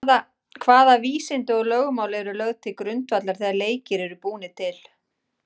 Hvaða vísindi og lögmál eru lögð til grundvallar þegar leikir eru búnir til?